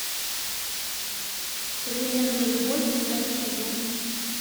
современная любовь пятый сезон